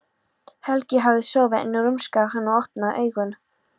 Helgi hafði sofið en nú rumskaði hann og opnaði augun.